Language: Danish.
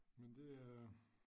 Men det er